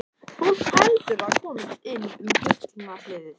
Fólk heldur að það komist inn um Gullna hliðið.